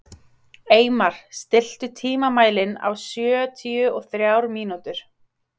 Eymar, stilltu tímamælinn á sjötíu og þrjár mínútur.